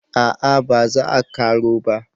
a'a ba za a karo ba